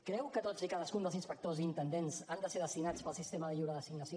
creu que tots i cadascun dels inspectors i intendents han de ser destinats pel sistema de lliure designació